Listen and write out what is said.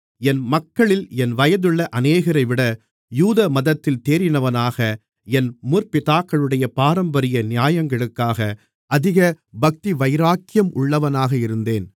என் மக்களில் என் வயதுள்ள அநேகரைவிட யூதமதத்தில் தேறினவனாக என் முற்பிதாக்களுடைய பாரம்பரிய நியாயங்களுக்காக அதிக பக்திவைராக்கியம் உள்ளவனாக இருந்தேன்